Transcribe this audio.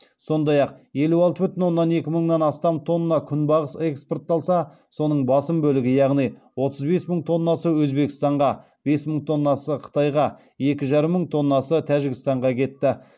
сондай ақ елу алты бүтін оннан екі мыңнан астам тонна күнбағыс экспортталса соның басым бөлігі яғни отыз бес мың тоннасы өзбекстанға бес мың тоннасы қытайға екі жарым мың тоннасы тәжікстанға кетті